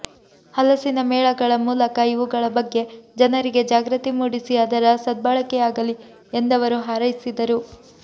ಹಲಸಿನ ಮೇಳಗಳ ಮೂಲಕ ಇವುಗಳ ಬಗ್ಗೆ ಜನರಿಗೆ ಜಾಗೃತಿ ಮೂಡಿಸಿ ಅದರ ಸದ್ಭಳಕೆಯಾಗಲಿ ಎಂದವರು ಹಾರೈಸಿದರು